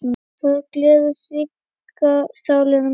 Það gleður hrygga sálina mína.